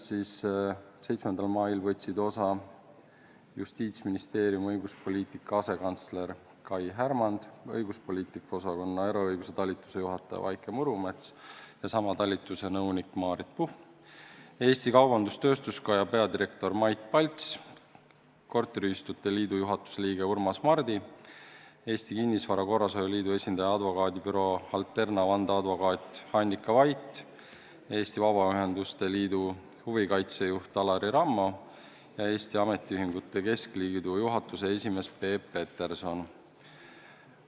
7. mail osalesid Justiitsministeeriumi õiguspoliitika asekantsler Kai Härmand, õiguspoliitika osakonna eraõiguse talituse juhataja Vaike Murumets ja sama talituse nõunik Maarit Puhm, Eesti Kaubandus-Tööstuskoja peadirektor Mait Palts, korteriühistute liidu juhatuse liige Urmas Mardi, Eesti Kinnisvara Korrashoiu Liidu esindaja, advokaadibüroo Alterna vandeadvokaat Annika Vait, Eesti Vabaühenduste Liidu huvikaitsejuht Alari Rammo ja Eesti Ametiühingute Keskliidu juhatuse esimees Peep Peterson.